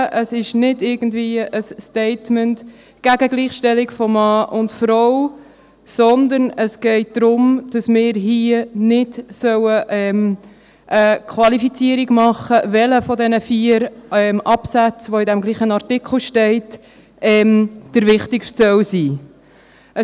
Es ist nicht irgendwie ein Statement gegen die Gleichstellung von Mann und Frau, sondern es geht darum, dass wir hier nicht eine Qualifizierung machen sollen, welcher der vier Absätze, die im selben Artikel stehen, der wichtigste sein soll.